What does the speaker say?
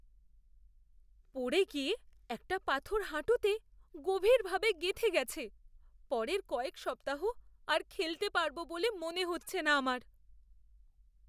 পড়ে গিয়ে একটা পাথর হাঁটুতে গভীরভাবে গেঁথে গেছে। পরের কয়েক সপ্তাহ আর খেলতে পারব বলে মনে হচ্ছে না আমার।